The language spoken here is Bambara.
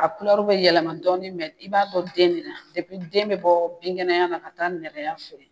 A bɛ yɛlɛma dɔɔni mɛ i b'a dɔn den de la , den bɛ bɔ binkɛnɛya na ka taa nɛgɛya fɛ.